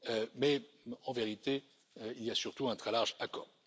mais en vérité il y a surtout un très large accord.